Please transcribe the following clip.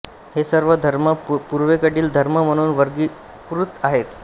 हे सर्व धर्म पूर्वेकडील धर्म म्हणून वर्गीकृत आहेत